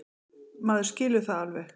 Maður skilur það alveg.